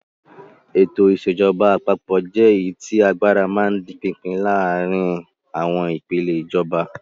Ètò ìṣèjọba àpapọ̀ jẹ́ èyí tí agbára máa ń di pínpín láàárin àwọn ìpèlè ìjọba.